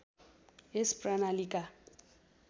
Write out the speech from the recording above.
यस प्रणालीका